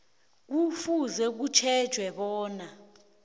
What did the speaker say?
kufuze kutjhejwe bona